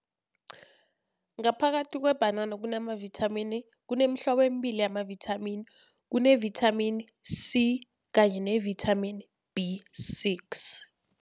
Ngaphakathi kwebhanana kunamavithamini, kunemihlobo emibili yamavithamini kune-vitamin C kanye ne-vitamin B six.